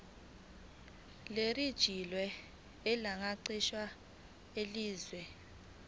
lerejistreshini lesacnasp elaziwa